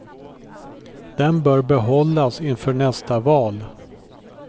Den bör behållas inför nästa val.